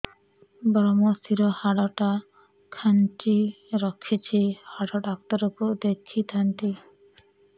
ଵ୍ରମଶିର ହାଡ଼ ଟା ଖାନ୍ଚି ରଖିଛି ହାଡ଼ ଡାକ୍ତର କୁ ଦେଖିଥାନ୍ତି